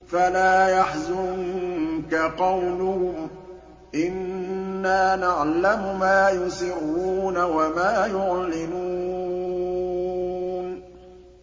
فَلَا يَحْزُنكَ قَوْلُهُمْ ۘ إِنَّا نَعْلَمُ مَا يُسِرُّونَ وَمَا يُعْلِنُونَ